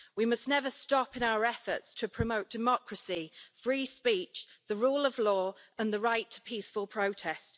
We must never stop in our efforts to promote democracy, free speech, the rule of law and the right to peaceful protest.